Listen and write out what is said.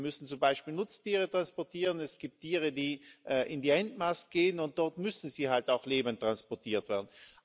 Wir müssen zum Beispiel Nutztiere transportieren, es gibt Tiere, die in die Endmast gehen und dort müssen sie halt auch lebend transportiert werden.